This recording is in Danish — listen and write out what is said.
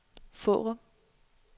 Fårup